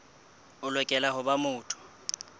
o lokela ho ba motho